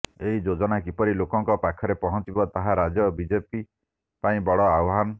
ଏହି ଯୋଜନା କିପରି ଲୋକଙ୍କ ପାଖରେ ପହଞ୍ଚିବ ତାହା ରାଜ୍ୟ ବିଜେପି ପାଇଁ ବଡ଼ ଆହ୍ୱାନ